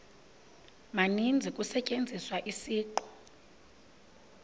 maninzi kusetyenziswa isiqu